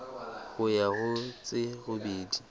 ho ya ho tse robedi